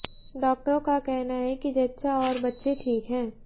डॉक्टरों का कहना है कि जच्चा और बच्चे ठीक हैं